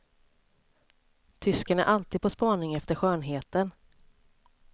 Tysken är alltid på spaning efter skönheten.